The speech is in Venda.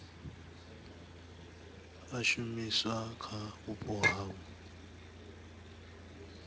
a shumiswa kha vhupo havho